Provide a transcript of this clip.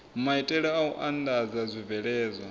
maitele a u andadza zwibveledzwa